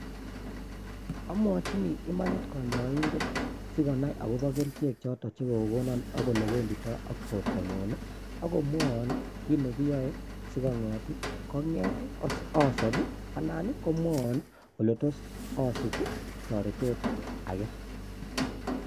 Amochini imanit konyoindet, sikonai akobo kerichek choton chekokonon ak olewenditou ak bortanyun akomwoon kiit nekiyoe sikobiit asob anan komwoon I ole tos asich toretet age